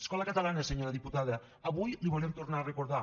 escola catalana senyora diputada avui li ho volem tornar a recordar